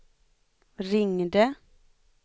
ringde